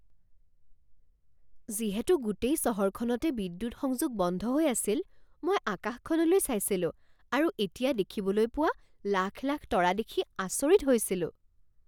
যিহেতু গোটেই চহৰখনতে বিদ্যুৎ সংযোগ বন্ধ হৈ আছিল, মই আকাশখনলৈ চাইছিলোঁ আৰু এতিয়া দেখিবলৈ পোৱা লাখ লাখ তৰা দেখি আচৰিত হৈছিলোঁ।